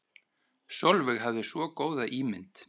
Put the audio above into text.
Sólveig hafði svo góða ímynd.